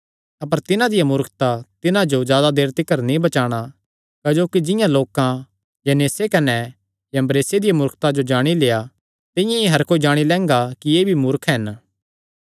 अपर तिन्हां दिया मूर्खता तिन्हां जो जादा देर तिकर नीं बचाणा क्जोकि जिंआं लोकां यन्नेस कने यम्ब्रेसे दिया मूर्खता जो जाणी लेआ तिंआं ई हर कोई जाणी लैंगा कि एह़ भी मूर्ख हन